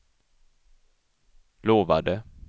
lovade